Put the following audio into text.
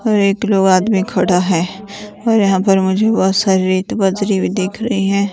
एक दो आदमी खड़ा है और यहां पर मुझे बहुत सारी रेत बाजरी भी दिख रही हैं।